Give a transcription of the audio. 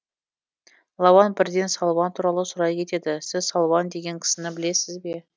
лауан бірден салуан туралы сұрай кетеді сіз салуан деген кісіні білесіз ба